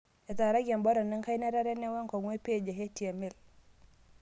Etaaraki enmbutton enkaina etatene, wenkong'u empage e HTML.